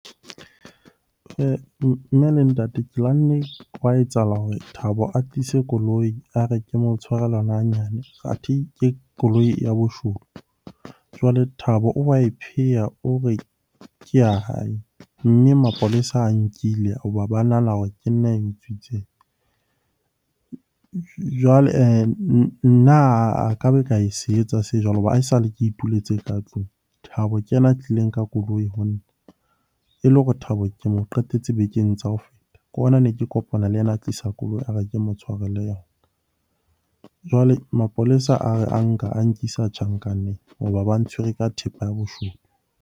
Mme le ntate ke lwanne, hwa etsahala hore Thabo a tlise koloi. A re ke mo tshwarele yona hanyane, athe ke koloi ya boshodu. Jwale Thabo o wa e pheya o re ke ya hae. Mme mapolesa ae nkile ho ba ba nahana hore ke nna ae utswitseng. Jwale nna a ka be ka se etsa se jwalo hoba haesale ke ituletse ka tlung. Thabo ke yena a tlileng ka koloi ho nna e le hore Thabo ke mo qetetse bekeng tsa ho feta. Ke hona ne ke kopana le yena a tlisa koloi, a re ke mo tshwarele yona. Jwale mapolesa a re a nka, a nkisa tjhankaneng hoba ba ntshwere ka thepa ya boshodu.